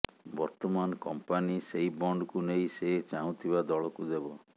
ବର୍ତମାନ କମ୍ପାନୀ ସେହି ବଣ୍ଡକୁ ନେଇ ସେ ଚାହୁଁଥିବା ଦଳକୁ ଦେବ